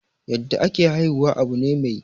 yadda ake haihuwa Abu ne mai.